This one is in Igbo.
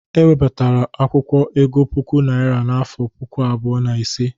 E webatara akwụkwọ ego puku naira n'afọ puku abụọ na ise.